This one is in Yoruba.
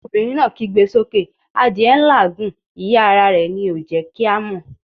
Obìnrin náà kígbe sókè adìẹ n làágùn, ìyẹ́ ara rẹ̀ ni ò jẹ́ kí a mọ̀'